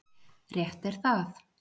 Rétt er það.